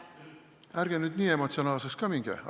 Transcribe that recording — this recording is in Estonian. Ärge nüüd nii emotsionaalseks ka minge!